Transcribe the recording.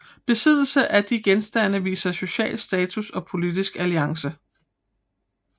Besiddelse af de genstande viste sociale status og politiske alliancer